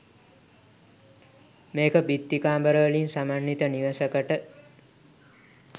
මේක බිත්ති කාමරවලින් සමන්විත නිවසකට